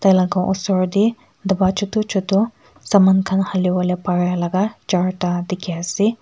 Laga osor tey dawa chutu chutu saman khan haliwole pari laga charta dekhi asey.